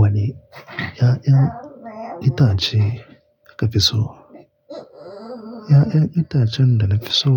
Wane 'ya'yan itace kika fi so? 'Ya'yan itacen da na fi so